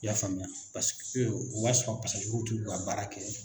I y'a faamuya o y'a sɔrɔ pasajuruw tɛ u ka baara kɛ